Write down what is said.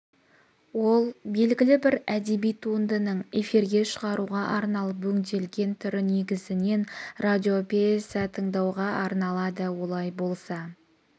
ол белгілі бір әдеби туындының эфирге шығаруға арналып өңделген түрі негізінен радиопьеса тыңдауға арналады олай болса